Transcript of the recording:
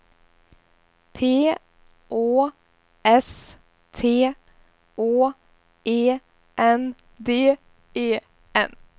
P Å S T Å E N D E N